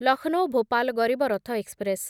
Lucknow Bhopal Garib Rath express